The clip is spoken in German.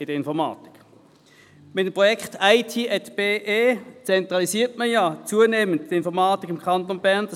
Mit dem Projekt IT@BE zentralisiert man die Informatik im Kanton Bern zunehmend.